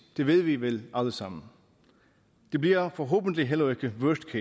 det ved vi vel alle sammen det bliver forhåbentlig heller ikke worst